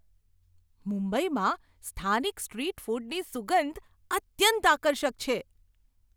મુંબઈમાં સ્થાનિક સ્ટ્રીટ ફૂડની સુગંધ અત્યંત આકર્ષક છે!